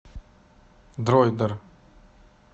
дроидер